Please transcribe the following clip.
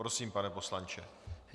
Prosím, pane poslanče.